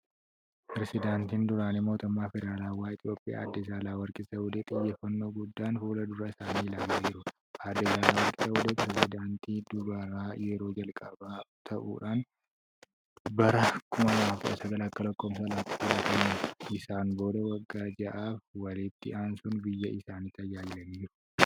Perezidaantiin duraanii mootummaa Federaalaawaa Itiyoophiyaa adde Saahilawarqi Zawudee xiyyeeffannoo guddaan fuuldura isaanii ilaalaa jiru. Adde Saahilawarqi Zawudeen Pireezidaantii dubaraa yeroo jalqabaa ta'uun bara 2019 ALA filataman. Isaan booda waggaa ja'aaf walitti aansuun biyya isaanii tajaajilaniiru.